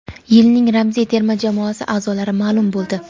Yilning ramziy terma jamoasi aʼzolari maʼlum bo‘ldi.